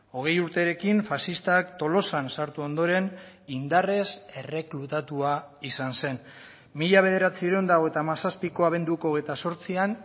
hogei urterekin faxistak tolosan sartu ondoren indarrez erreklutatua izan zen mila bederatziehun eta hogeita hamazazpiko abenduko hogeita zortzian